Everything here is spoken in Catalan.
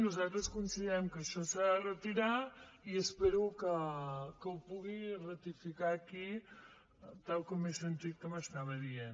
nosaltres considerem que això s’ha de retirar i espero que ho pugui ratificar aquí tal com he sentit que m’estava dient